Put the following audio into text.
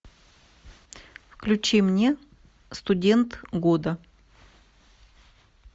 включи мне студент года